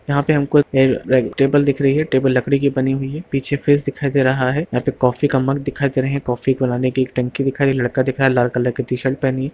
यहाँ पे हमको एक टेबल दिख रही है टेबल लकड़ी की बनी हुई है पीछे फ्रीज दिखाई दे रहा है यहाँ पे कॉफ़ी का मग दिखाई दे रहें हैं कॉफी बनाने की टंकी दिख रही है लड़का दिख रहा है लाल कलर की टी-शर्ट पहनी है।